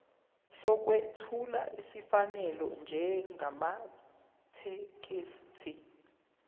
sokwethula esifanele njengamathekisthi